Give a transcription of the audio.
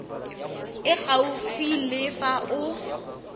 e gaufi le fa o